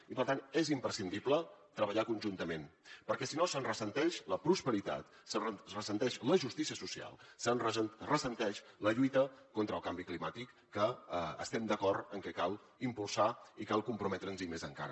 i per tant és imprescindible treballar conjuntament perquè si no se’n ressent la prosperitat se’n ressent la justícia social se’n ressent la lluita contra el canvi climàtic que estem d’acord en que cal impulsar i cal comprometre’ns hi més encara